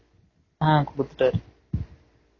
ஆஹ் குடுத்துட்டாரு